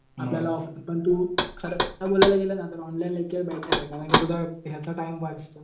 आपल्याला पण तू खरं बोलायला गेला ना ऑनलाईन लेक्चर बेटर आहे कारण की तुझा ह्याचा टाईम वाचतो.